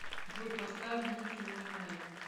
джой поставь ники минаж